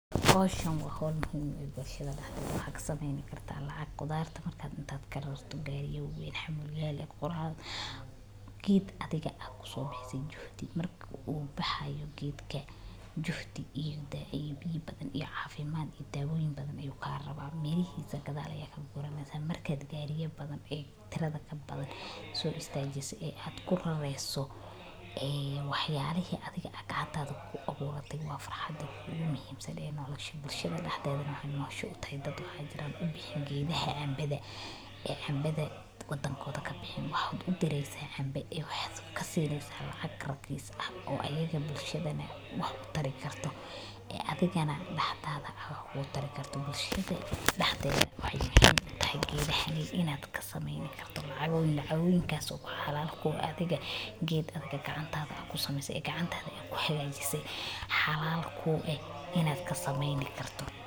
Hawshan wa hol muhiim u ah bulshada dhaxdhedha. Waxaa ka samayn karto lacag qudaarta markaad intaad kara rata gaariyo weyn xamuuyeen la yeed quraal. Geed adiga aad ku soo baxsaysay jooxti marka uu baxaya geedka jooxti iyo biyihi badan iyo caafimaad iyo daabuuyin badan ayuu ka rabaa. Meelihiisa gadaalaya kaga guuramaysa markaad gaariyo badan ee tirade ka badan soo istajise ee aad qura reeso. Ee wax yaalihi adiga agagaadaada ku abuuratay waa farxadad ugu muhiimsan ee ma nolloshi bulshada dhaxdedha ah ee aad noqon doono. Noqoshu utayd dadku hadii jira. U bixi giida caambeda ee caambeda wadankooda ka bixin waaxood u diraysa caambe ey waxyaabo ka sii diibsan lacag rakis ah oo ayaga bulshada wuxuu tari kartaa ee adigana dhaxdaada aa waxu tari karto bulshada dhaxdedha. Waxay muhiim tahay geedahan een inaad ka samayn karto lacag weyn. Lacag weyn kaas oo xalaal ku ah adiga geed adiga gacanta aad ku sameysay gacantaada ay ku xagaajisey xalaal ku ah inaad ka samayn karto.